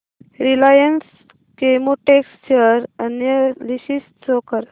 Reliance Chemotex share analysis show कर